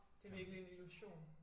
Det er virkelig en illusion